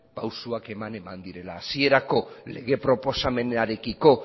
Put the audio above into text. pausoak eman direla hasierako lege proposamenarekiko